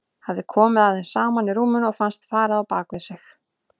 Hafði komið að þeim saman í rúminu og fannst farið á bak við sig.